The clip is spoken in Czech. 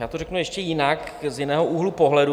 Já to řeknu ještě jinak, z jiného úhlu pohledu.